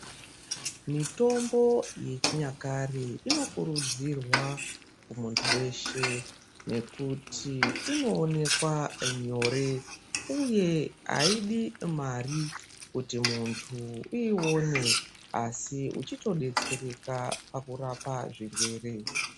Mitombo yechinyakare ino kurudzirwa muntu weshe nekuti inoonekwa nyore uye aidi mari kuti muntu uione asi uchito detsereka pakurapa zvirwere.